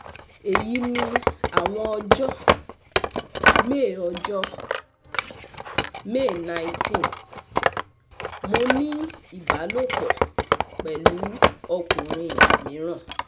Eyi ni awọn ọjọ: May ọjọ: May nineteen - Mo ni ibalopọ pẹlu ọkunrin miiran